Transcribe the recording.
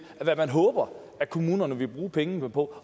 hvad man håber kommunerne vil bruge pengene på